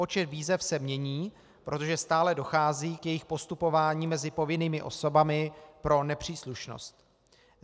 Počet výzev se mění, protože stále dochází k jejich postupování mezi povinnými osobami pro nepříslušnost.